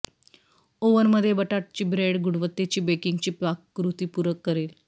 ओव्हनमध्ये बटाटाची ब्रेड गुणवत्तेची बेकिंगची पाककृती पूरक करेल